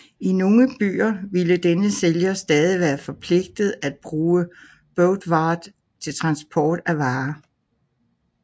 I nogle byer ville denne sælger stadig være forpligtet at bruge beurtvaart til transport af varer